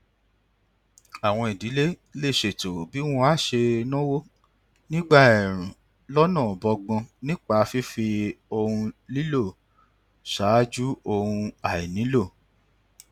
àwọn ìdílé lè ṣètò bí wọn á ṣe náwó nígbà ẹẹrùn lọnà bọgbọn nípa fífi ohun nílò ṣáájú ohun àìnílò